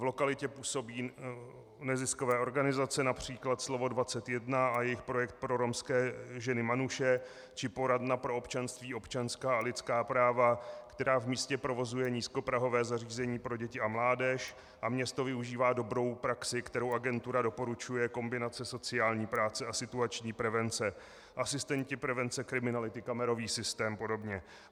V lokalitě působí neziskové organizace, například Slovo 21 a jejich projekt pro romské ženy Manushe či poradna pro občanství, občanská a lidská práva, která v místě provozuje nízkoprahové zařízení pro děti a mládež, a město využívá dobrou praxi, kterou agentura doporučuje, kombinace sociální práce a situační prevence, asistenti prevence kriminality, kamerový systém, a podobně.